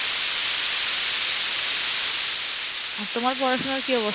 আর তোমার পড়াশোনার কী